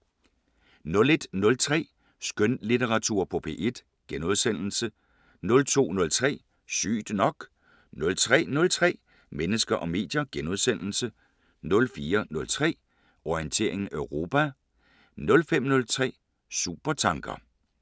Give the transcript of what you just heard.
01:03: Skønlitteratur på P1 * 02:03: Sygt nok 03:03: Mennesker og medier * 04:03: Orientering Europa 05:03: Supertanker